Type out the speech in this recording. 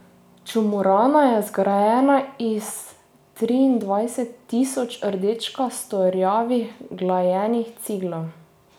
Čumurana je zgrajena iz triindvajset tisoč rdečkasto rjavih glajenih ciglov.